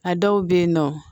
A dɔw bɛ yen nɔ